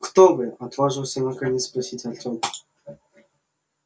кто вы отважился наконец спросить артём